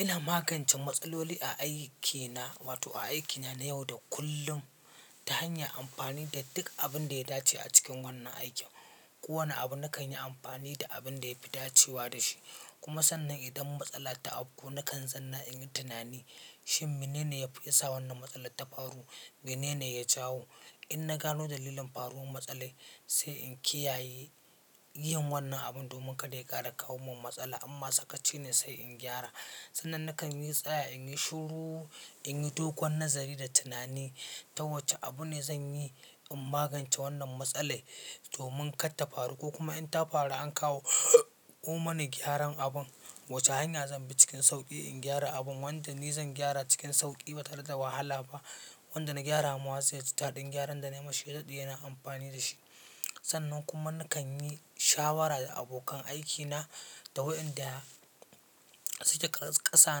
Ina magance matsaloli a aikina, wato a aikina na yau da kullum ta hanyar amfani da duk abin da ya dace a cikin wannan aikin. Kowane abu nakan yi amfani da abin da ya fi dacewa da shi. Kuma sannan idan matsala ta auku, nakan zanna in yi tunani shin menene ya fi yasa wannan matsalar ta faru? Menene ya jawo? In na gano dalilin faruwar matsalar, sai in kiyaye yin wannan abun domin kada ya ƙara kawo min matsala. In ma sakaci ne sai in gyara. Sannan nakan yi tsaya in yi shiru, in yi dogon nazari da tunani ta wace abu ne zan yi in magance wannan matsalar domin kar ta faru ko kuma in ta faru an kawo ko mana gyaran abun, wace hanya zan bi cikin sauƙi in gyara abun? Wanda ni zan gyara cikin sauƙi ba tare da wahala ba. Wanda na gyara mawa zai ji daɗin gyaran da na yi mashi ya daɗe yana amfani da shi. Sannan kuma nakan yi shawara da abokan aikina da waɗanda suke ƙasa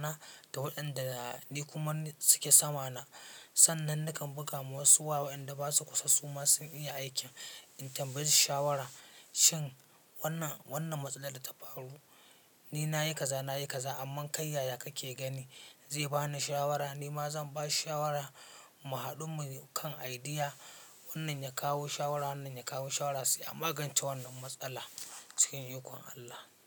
na da waɗanda ni kuma suke sama na. Sannan nakan buga ma wasu waya waƴanda ba su kusa su ma sun iya aikin in tambaye su shawara shin wannan, wannan matsalar da ta faru ni na yi kaza, na yi kaza amma kai yaya kake gani? Zai ba ni shawara, ni ma zan ba shi shawara mu haɗu mu yi kan idea. Wannan ya kawo shawara, wannan ya kawo shawara sai a magance wannan matsala cikin ikon Allah.